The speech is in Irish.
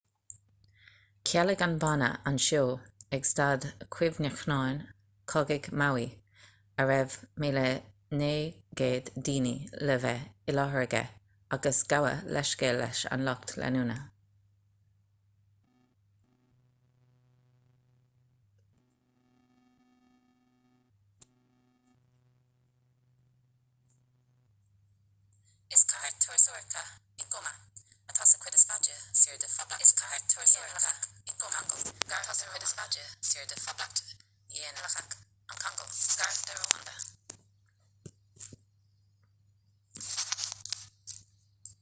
chealaigh an banna an seó ag staid chuimhneacháin cogaidh maui a raibh 9,000 duine le bheith i láthair aige agus gabhadh leithscéal leis an lucht leanúna